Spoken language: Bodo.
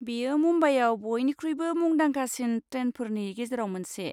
बेयो मुम्बाइयाव बयनिख्रुइबो मुंदांखासिन ट्रेनफोरनि गेजेराव मोनसे।